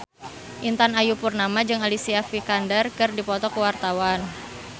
Intan Ayu Purnama jeung Alicia Vikander keur dipoto ku wartawan